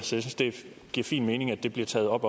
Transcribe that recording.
synes det giver fin mening at det bliver taget op